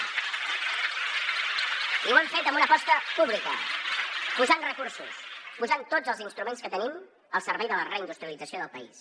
i ho hem fet amb una aposta pública posant hi recursos posant hi tots els instruments que tenim al servei de la reindustrialització del país